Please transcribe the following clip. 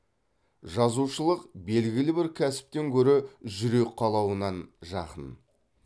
жазушылық белгілі бір кәсіптен гөрі жүрек қалауынан жақын